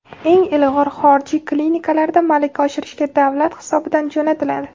eng ilg‘or xorijiy klinikalarda malaka oshirishga davlat hisobidan jo‘natiladi.